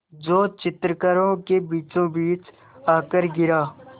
जो चित्रकारों के बीचोंबीच आकर गिरा